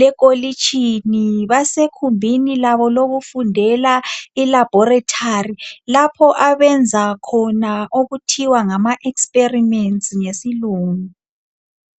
lekolitshini basegumbini labo lokufundela ilaboratory lapho abayenza khona okuthiwa ngama experiments ngesilungu.